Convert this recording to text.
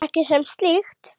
Ekki sem slíkt.